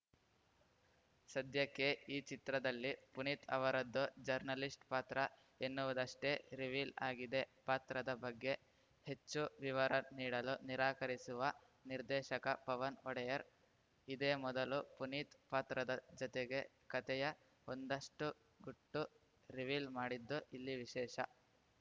ಸದ್ಯಕ್ಕೆ ಈ ಚಿತ್ರದಲ್ಲಿ ಪುನೀತ್‌ ಅವರದ್ದು ಜರ್ನಲಿಸ್ಟ‌ ಪಾತ್ರ ಎನ್ನುವುದಷ್ಟೇ ರಿವೀಲ್‌ ಆಗಿದೆ ಪಾತ್ರದ ಬಗ್ಗೆ ಹೆಚ್ಚು ವಿವರ ನೀಡಲು ನಿರಾಕರಿಸುವ ನಿರ್ದೇಶಕ ಪವನ್‌ ಒಡೆಯರ್‌ ಇದೇ ಮೊದಲು ಪುನೀತ್‌ ಪಾತ್ರದ ಜತೆಗೆ ಕತೆಯ ಒಂದಷ್ಟುಗುಟ್ಟು ರಿವೀಲ್‌ ಮಾಡಿದ್ದು ಇಲ್ಲಿ ವಿಶೇಷ